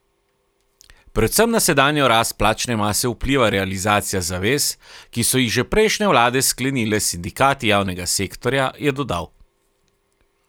Predvsem na sedanjo rast plačne mase vpliva realizacija zavez, ki so jih že prejšnje vlade sklenile s sindikati javnega sektorja, je dodal.